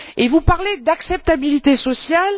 Et vous parlez d'acceptabilité sociale?